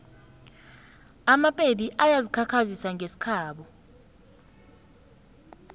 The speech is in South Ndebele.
amapedi ayazikhakhazisa ngesikhabo